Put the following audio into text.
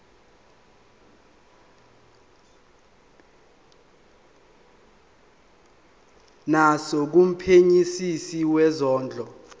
naso kumphenyisisi wezondlo